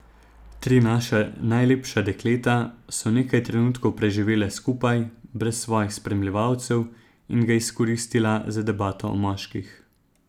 Tri naša najlepša dekleta so nekaj trenutkov preživela skupaj, brez svojih spremljevalcev, in ga izkoristila za debato o moških.